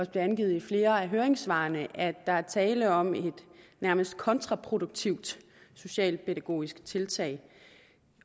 angivet i flere af høringssvarene at der er tale om et nærmest kontraproduktivt socialpædagogisk tiltag